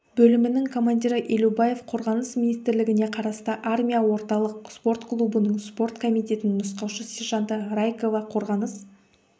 бөлімінің командирі елубаев қорғаныс министрлігіне қарасты армия орталық спорт клубының спорт комитетінің нұсқаушы-сержанты райкова қорғаныс